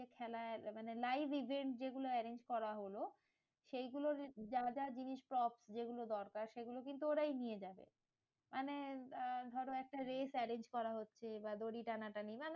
খেলার মানে live event যেগুলো arrange করা হলো, সেগুলোর যা যা জিনিস সব যেগুলো দরকার সেগুলো কিন্তু ওরাই নিয়ে যায়। মানে আহ ধরো একটা race arrange করা হচ্ছে বা দড়ি টানাটানি, নানান